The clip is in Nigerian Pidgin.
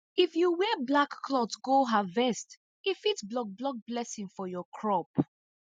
if you wear black cloth go harvest e fit block block blessing for your crop